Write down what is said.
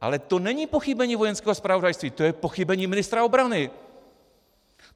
Ale to není pochybení Vojenského zpravodajství, to je pochybení ministra obrany.